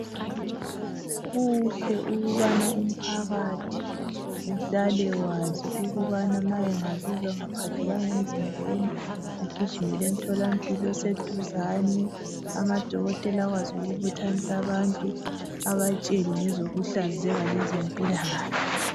Kuhle ukubana umphakathi uhlale ukwazi ukubana ma angazizwa engaphatheka agijimele emtholampilo oseduzane. Amadokotela akwazi ukubuthanisa abantu abatshele ngezokuhlanzeka lezempilakahle.